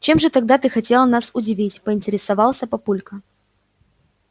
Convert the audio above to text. чем же тогда ты хотела нас удивить поинтересовался папулька